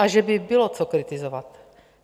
A že by bylo co kritizovat!